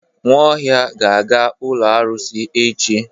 Nwaohia ga-aga ụlọ arụsị echi.